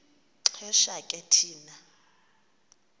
xesha ke thina